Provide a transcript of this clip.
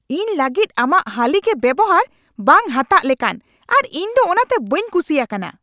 ᱤᱧ ᱞᱟᱹᱜᱤᱫ ᱟᱢᱟᱜ ᱦᱟᱹᱞᱤ ᱜᱮ ᱵᱮᱣᱦᱟᱨ ᱵᱮᱝ ᱦᱟᱛᱟᱜ ᱞᱮᱠᱟᱱ ᱟᱨ ᱤᱧ ᱫᱚ ᱚᱱᱟᱛᱮ ᱵᱟᱹᱧ ᱠᱩᱥᱤᱭᱟᱠᱟᱱᱟ ᱾